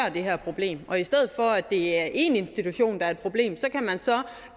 det her problem og i stedet for at det er én institution der er et problem kan man så